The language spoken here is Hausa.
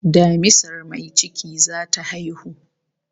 Damisar mai ciki zata haihu